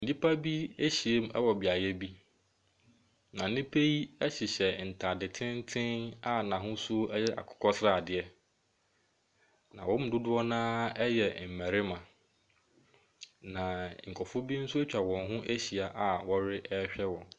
Nnipa bi ahyiam wɔ beaeɛ bi, na nnipa yi hyehyɛ ntade tenten a n'ahosuo yɛ akokɔ sradeɛ, na wɔn mu dodoɔ no ara yɛ mmarima, na nkurɔfoɔ bi nso atwa wɔn ho ahyia a wɔrehwɛ wɔn.